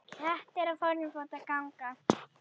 Kettir á fjórum fótum ganga.